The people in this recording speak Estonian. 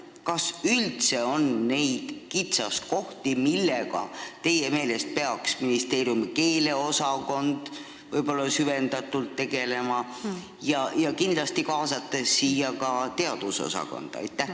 Kas üldse on neid kitsaskohti, millega peaks teie meelest ministeeriumi keeleosakond võib-olla süvendatult tegelema, kaasates kindlasti ka teadusosakonda?